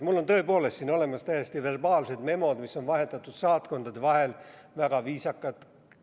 Mul on tõepoolest siin olemas täiesti verbaalsed memod, mis on vahetatud saatkondade vahel, väga viisakad.